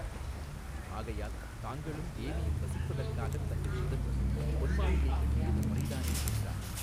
ஆகையால் தாங்களும் தேவியும் வசிப்பதற்காகத் தங்கள் புதல்வர் பொன்மாளிகை கட்டியது முறைதானே என்றான்.